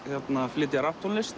flytja